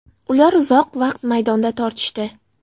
Ular uzoq vaqt maydonda tortishdi.